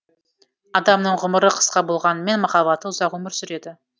адамның ғұмыры қысқа болғанымен махаббаты ұзақ өмір сүреді